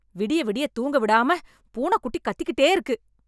விடிய விடிய தூங்க விடாம பூனைக்குட்டி கத்திக்கிட்டே இருக்கு.